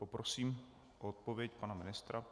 Poprosím o odpověď pana ministra.